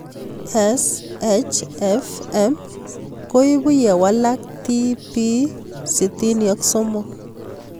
SHFM koipu ye walak TP63